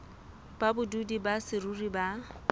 ba badudi ba saruri ba